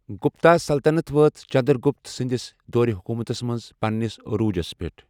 گپتا سلطنت وٲژ چندرگُپت سٕنٛدِس دورِ حکومتَس منٛز پَننِس عروجَس پیٚٹھ ۔